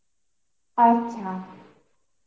আচ্ছা